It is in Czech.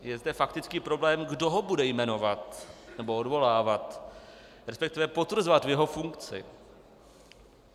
Je zde faktický problém, kdo ho bude jmenovat nebo odvolávat, respektive potvrzovat v jeho funkci.